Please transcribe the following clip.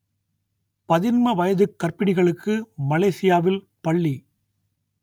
பதின்ம வயதுக் கர்ப்பிணிகளுக்கு மலேஷியாவில் பள்ளி